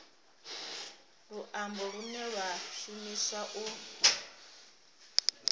luambo lune lwa shumiswa u